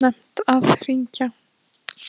Var ekki of snemmt að hringja?